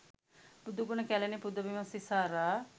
බුදුගුණ කැලණි පුදබිම සිසාරා